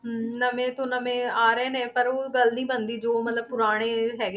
ਹਮ ਨਵੇਂ ਤੋਂ ਨਵੇਂ ਆ ਰਹੇ ਨੇ ਪਰ ਉਹ ਗੱਲ ਨੀ ਬਣਦੀ ਜੋ ਮਤਲਬ ਪੁਰਾਣੇ ਹੈਗੇ,